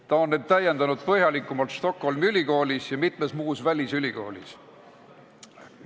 Ta on täiendanud end Stockholmi Ülikoolis ja mitmes muus välisülikoolis.